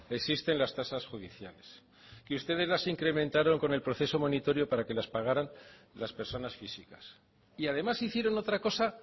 existen las tasas judiciales que ustedes las incrementaron con el proceso monitorio para que las pagaran las personas físicas y además hicieron otra cosa